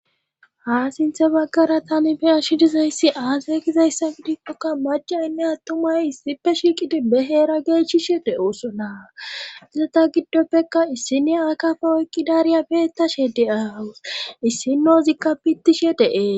ha sinthe baggara tani be'ashi dizayssi aasaygizayssa bidikkokka macaynne attumay issipe shiiqidi beheera geechishe de7oosona gizeta giddoppekka issiniya akafa oykkidariya beettashe de7awus issinozikka pittishe de7es